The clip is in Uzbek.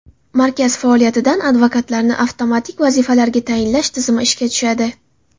Markaz faoliyatidan advokatlarni avtomatik vazifalarga tayinlash tizimi ishga tushadi.